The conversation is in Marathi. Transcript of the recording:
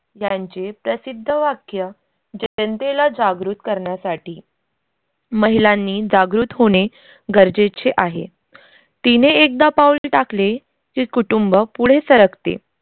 यांचे प्रसिद्ध वाक्य जनतेला जागृत करण्यासाठी महिलांनी जागृत होणे गरजेचे आहे. तिने एकदा पाऊल टाकले की कुटुंब पुढे सरकते